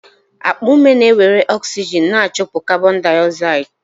Akpa ume na-ewere oxygen ma chụpụ carbondioxide